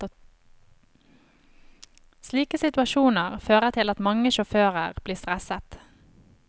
Slike situasjoner fører til at mange sjåfører blir stresset.